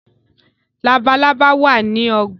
Labalábá wá ní ogbà.